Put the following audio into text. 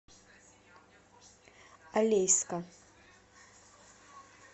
алейска